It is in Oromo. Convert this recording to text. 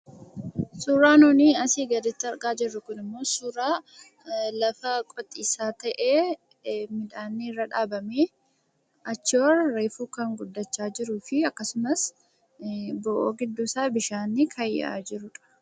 Suuraa nuni asii gaditti argaa jirru kun immoo suuraa lafa qotiisaa ta'ee, midhaanni irra dhaabamee, achii ol reefuu kan guddachaa jiruu fi akkasumas bo'oo giddduu isaa bishaanni kan yaa'aa jiruudha.